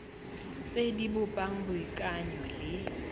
tse di bopang boikanyo le